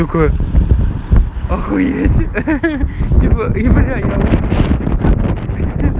такая охуеть ахаха типо и бля я